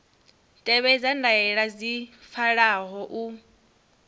tevhedza ndaela dzi pfalaho u